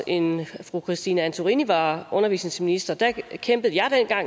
en fru christine antorini var undervisningsminister kæmpede jeg